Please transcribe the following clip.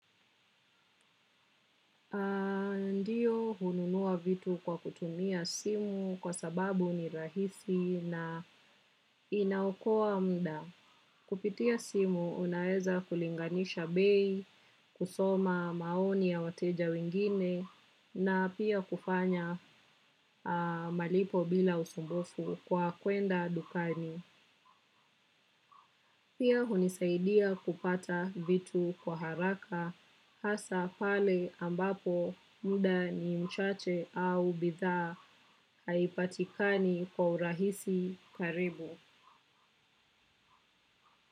Ndiyo hununua vitu kwa kutumia simu kwa sababu ni rahisi na inaokoa muda. Kupitia simu unaweza kulinganisha bei, kusoma maoni ya wateja wingine na pia kufanya malipo bila usumbufu kwa kwenda dukani. Pia hunisaidia kupata vitu kwa haraka hasa pale ambapo muda ni mchache au bidhaa haipatikani kwa urahisi karibu.